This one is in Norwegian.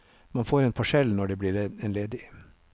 Man får en parsell når det blir en ledig.